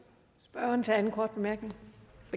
var med